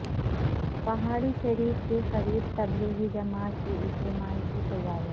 پہاڑی شریف کے قریب تبلیغی جماعت کے اجتماع کی تیاریاں